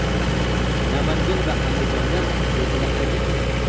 Namangan va Andijonda zilzila qayd etildi.